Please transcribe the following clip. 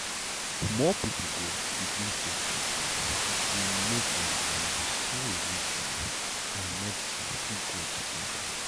more people go begin take treatment if we make dem know say religion and medicine fit go together